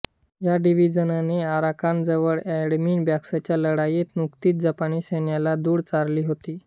या डिव्हीजनने आराकानजवळ एडमिन बॉक्सच्या लढाईत नुकतीच जपानी सैन्याला धूळ चारली होती